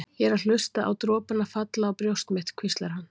Ég er að hlusta á dropana falla á brjóst mitt, hvíslar hann.